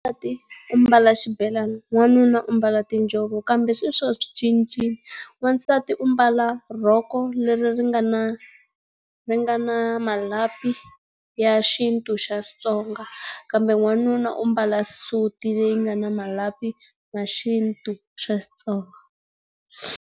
u ambala xibelani wanuna u ambala tiinjhovo kambe sweswi wa swi cincile. Wansati u ambala rhoko leri ri nga na ri nga na malapi ya xintu xa Xitsonga, kambe wanuna u ambala suti leyi nga na malapi ya xintu xa Xitsonga.